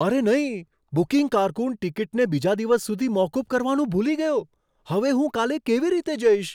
અરે નહીં! બુકિંગ કારકુન ટિકિટને બીજા દિવસ સુધી મોકૂફ કરવાનું ભૂલી ગયો. હવે હું કાલે કેવી રીતે જઈશ?